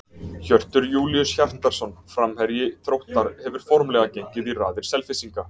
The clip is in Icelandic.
Hjörtur Júlíus Hjartarson, framherji Þróttar, hefur formlega gengið í raðir Selfyssinga.